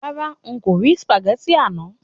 Rárá,n kò rí ságẹ́ńtì àná.